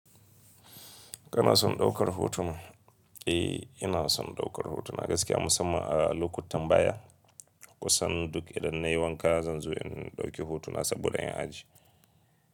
Kana son ɗaukar hotuna? E, ina son ɗaukar hotuna gaskiya musamman a lokutan baya. Kusan duk idan na yi wanka zan zo in ɗauki hotuna saboda in ajiye.